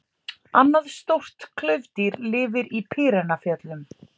Annað stórt klaufdýr lifir í Pýreneafjöllum.